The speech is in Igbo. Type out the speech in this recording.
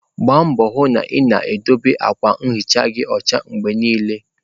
Gbaa mbọ hụ na ị na-edobe akwa nhicha gị ọcha mgbe niile!.